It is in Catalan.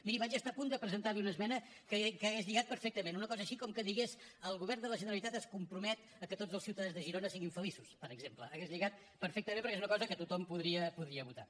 miri vaig estar a punt de presentar li una esmena que hauria lligat perfectament una cosa així com que digués el govern de la generalitat es compromet a que tots els ciutadans de girona siguin feliços per exemple hauria lligat perfectament perquè és una cosa que tothom podria votar